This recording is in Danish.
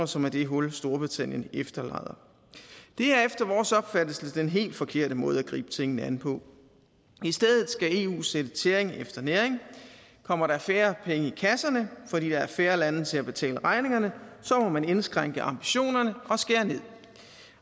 som er det hul storbritannien efterlader det er efter vores opfattelse den helt forkerte måde at gribe tingene an på i stedet skal eu sætte tæring efter næring kommer der færre penge i kasserne fordi der er færre lande til at betale regningerne så må man indskrænke ambitionerne